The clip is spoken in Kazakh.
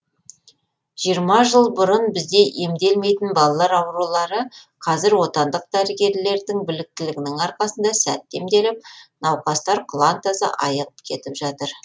жиырма жыл бұрын бізде емделмейтін балалар аурулары қазір отандық дәрігерлердің біліктілігінің арқасында сәтті емделіп науқастар құлантаза айығып кетіп жатыр